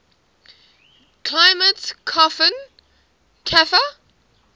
climate koppen cfa